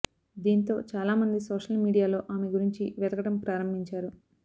దీంతో చాలా మంది సోషల్ మీడియాలో ఆమె గురించి వెతకటం ప్రారంభించారు